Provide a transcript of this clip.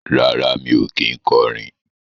Rárá, mi ò kí ń kọrin